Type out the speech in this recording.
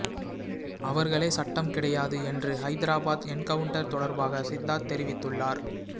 அவர்களே சட்டம் கிடையாது என்று ஹைதராபாத் என்கவுன்ட்டர் தொடர்பாக சித்தார்த் தெரிவித்துள்ளார்